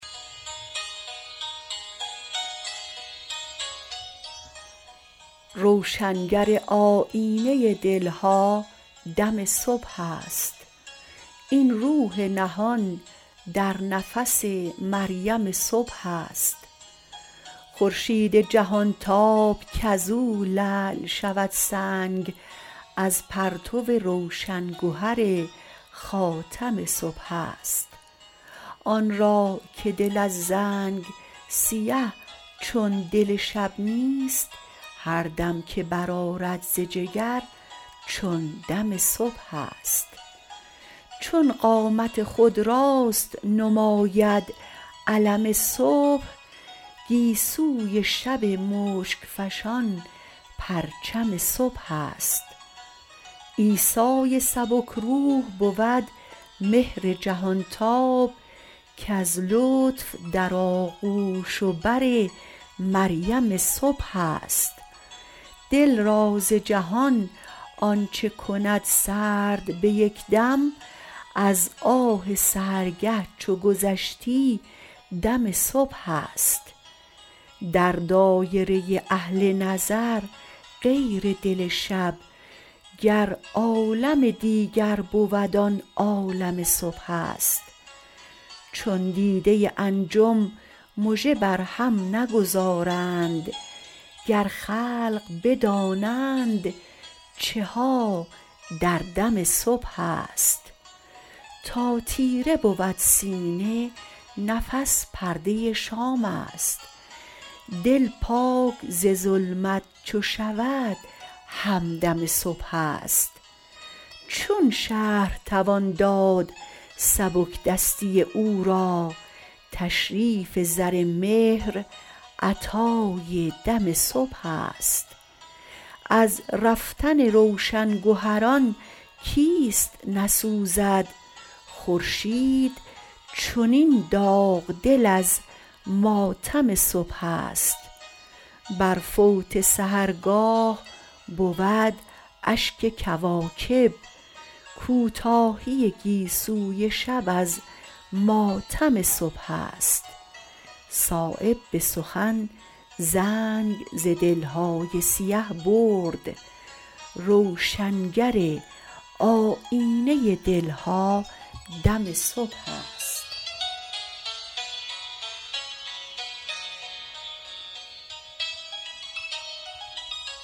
روشنگر آیینه دلها دم صبح است این روح نهان در نفس مریم صبح است خورشید جهانتاب کز او لعل شود سنگ از پرتو روشن گهری خاتم صبح است آن را که دل از زنگ سیه چون دل شب نیست هر دم که برآرد ز جگر چون دم صبح است چون قامت خود راست نماید علم صبح گیسوی شب شک فشان پرچم صبح است عیسای سبکروح بود مهر جهانتاب کز لطف در آغوش و بر مریم صبح است دل را ز جهان آنچه کند سرد به یک دم از آه سحرگه چو گذشتی دم صبح است در دایره اهل نظر غیر دل شب گر عالم دیگر بود آن عالم صبح است چون دیده انجم مژه بر هم نگذارند گر خلق بدانند چها در دم صبح است تا تیره بود سینه نفس پرده شام است دل پاک ز ظلمت چو شود همدم صبح است چون شرح توان داد سبکدستی او را تشریف زر مهر عطای دم صبح است از رفتن روشن گهران کیست نسوزد خورشید چنین داغ دل از ماتم صبح است بر فوت سحرگاه بود اشک کواکب کوتاهی گیسوی شب از ماتم صبح است صایب به سخن زنگ ز دلهای سیه برد روشنگر آیینه دلها دم صبح است